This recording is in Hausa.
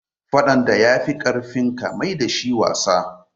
Faɗan da ya fi ƙarfinka, mai da shi wasa